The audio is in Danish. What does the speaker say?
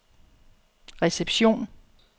reception